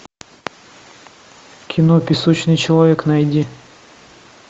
кино песочный человек найди